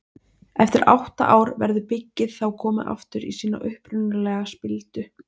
Eftir átta ár verður byggið þá komið aftur í sína upprunalegu spildu.